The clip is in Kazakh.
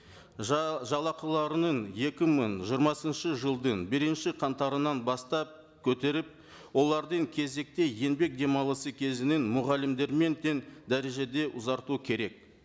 жалақыларының екі мың жиырмасыншы жылдың бірінші қаңтарынан бастап көтеріп олардың кезекті еңбек демалысы кезінен мұғалімдермен тең дәрежеде ұзарту керек